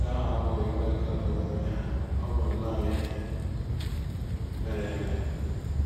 “ Nke ahụ abụghịkwa ịkatọ omume ha, ọ bụ nnọọ ihe mere eme. ”